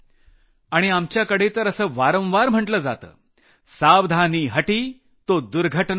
आणि आपल्याकडे तर असं वारंवार म्हटलं जातंसावधानी हटी तो दुर्घटना घटी